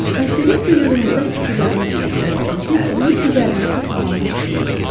Xəstəlik vücudumuzda fikirlərimizi və diqqətimizi onun üzərində toplamağımız üçün qalır.